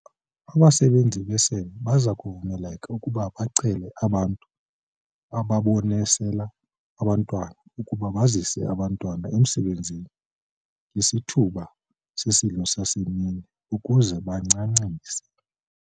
Abasebenzi besebe baza kuvumeleka ukuba bacele abantu ababonesela abantwana ukuba bazise abantwana emisebenzini ngesithuba sesidlo sasemini ukuze bancancise.